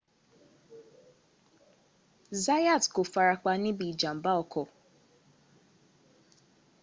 zayat kò farapa ní ibi ìjànmbá ọkọ̀